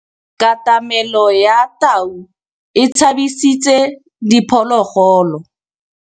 Katamêlô ya tau e tshabisitse diphôlôgôlô.